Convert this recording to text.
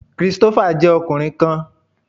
Christopher jẹ ọkunrin kan